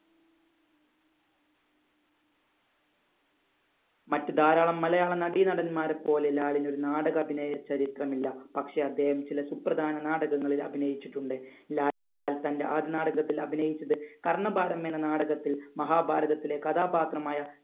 മറ്റ് ധാരാളം മലയാള നടി നടന്മാരെ പോലെ ലാലിന് ഒരു നാടക ചരിത്രം ഇല്ല. പക്ഷേ അദ്ദേഹം ചില സുപ്രധാന നാടകങ്ങളിൽ അഭിനയിച്ചിട്ടുണ്ട്. ലാൽ തന്‍റെ ആദ്യ നാടകത്തിൽ അഭിനയിച്ചത് കർണ്ണഭാരം എന്ന നാടകത്തിൽ മഹാഭാരതത്തിലെ കഥാപാത്രമായ